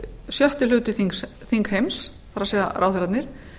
sjötti hluti þingheims það er ráðherrarnir